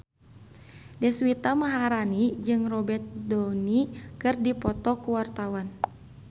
Deswita Maharani jeung Robert Downey keur dipoto ku wartawan